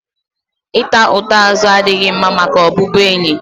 Ị ta ụta azụ adịghị mma maka ọbụbụenyi